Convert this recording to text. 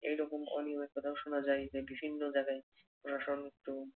এই রকম অনিয়মের কথাও শুনা যায় যে, বিভিন্ন জায়গায় প্রশাসন তো